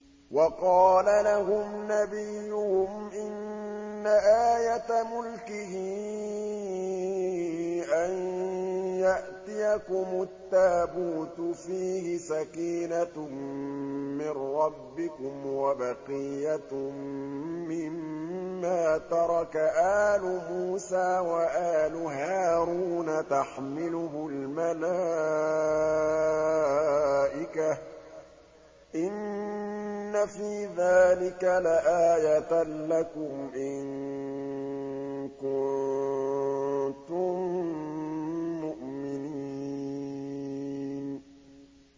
وَقَالَ لَهُمْ نَبِيُّهُمْ إِنَّ آيَةَ مُلْكِهِ أَن يَأْتِيَكُمُ التَّابُوتُ فِيهِ سَكِينَةٌ مِّن رَّبِّكُمْ وَبَقِيَّةٌ مِّمَّا تَرَكَ آلُ مُوسَىٰ وَآلُ هَارُونَ تَحْمِلُهُ الْمَلَائِكَةُ ۚ إِنَّ فِي ذَٰلِكَ لَآيَةً لَّكُمْ إِن كُنتُم مُّؤْمِنِينَ